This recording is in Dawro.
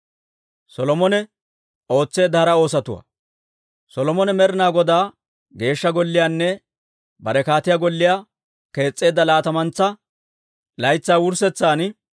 Solomone Med'inaa Godaa Geeshsha Golliyaanne bare kaatiyaa golliyaa kees's'eedda laatamantsa laytsaa wurssetsan,